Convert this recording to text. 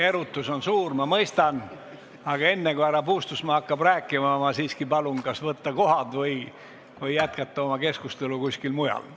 Erutus on suur, ma mõistan, aga enne, kui härra Puustusmaa hakkab rääkima, ma siiski palun kas istuda kohale või jätkata oma keskustelu kuskil mujal.